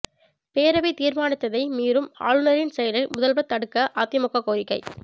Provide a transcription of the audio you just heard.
பேரவை தீா்மானத்தை மீறும் ஆளுநரின் செயலை முதல்வா் தடுக்க அதிமுக கோரிக்கை